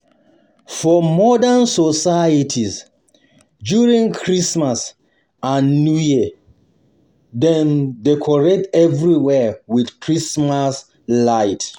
For modern societies, during Christmas and New Year, dem decorate everywhere with Christmas light. light.